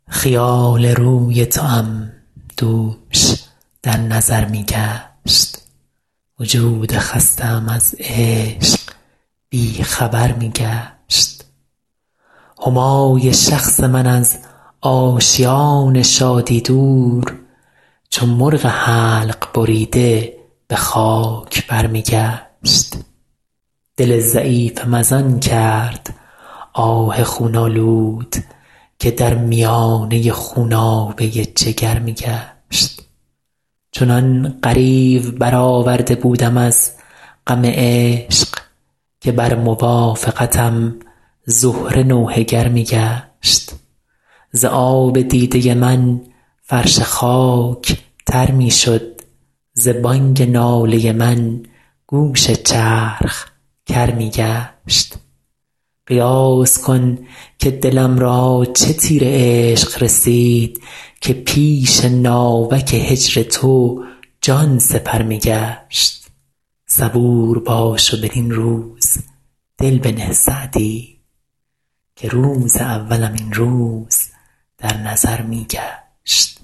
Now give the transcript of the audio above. خیال روی توام دوش در نظر می گشت وجود خسته ام از عشق بی خبر می گشت همای شخص من از آشیان شادی دور چو مرغ حلق بریده به خاک بر می گشت دل ضعیفم از آن کرد آه خون آلود که در میانه خونابه جگر می گشت چنان غریو برآورده بودم از غم عشق که بر موافقتم زهره نوحه گر می گشت ز آب دیده من فرش خاک تر می شد ز بانگ ناله من گوش چرخ کر می گشت قیاس کن که دلم را چه تیر عشق رسید که پیش ناوک هجر تو جان سپر می گشت صبور باش و بدین روز دل بنه سعدی که روز اولم این روز در نظر می گشت